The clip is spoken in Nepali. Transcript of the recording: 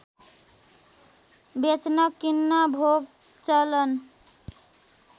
बेच्न किन्न भोगचलन